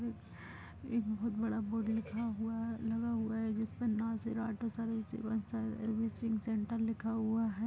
एक बहुत बड़ा बोर्ड लिखा हुआ हैलगा हुआ है सेंटर लिखा हुआ है।